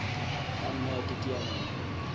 ka nna ya teteanya mobu